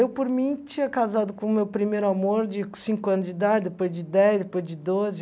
Eu, por mim, tinha casado com o meu primeiro amor de cinco anos de idade, depois de dez, depois de doze